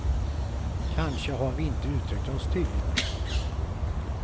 Kanske har vi inte uttryckt oss tydligt nog.